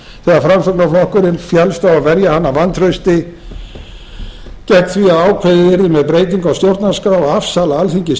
þegar framsóknarflokkurinn féllst á að verja hana vantrausti gegn því að ákveðið yrði með breytingu á stjórnarskrá og afsala alþingi stjórnarskrárvaldinu